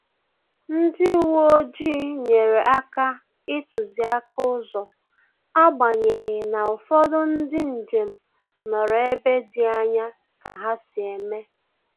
Ndị uwe ojii nyere aka ituziaka ụzọ, agbanyeghi n'ufodu ndị njem nọrọ ebe dị anya ka ha si eme